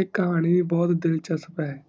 ਈ ਕਹਾਣੀ ਬ ਬਹੁਤ ਦਿਲਚਸਪ ਹੈ